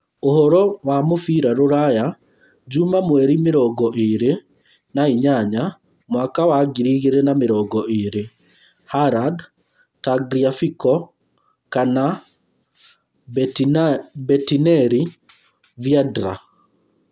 Ũhoro wa mũbira rũraya Juma mweri mĩrongo ĩĩrĩ na inyanya mwaka wa ngiri igĩrĩ na mĩrongo ĩĩrĩ: Haaland, Tagliafico, Kana, Bettinelli, Vydra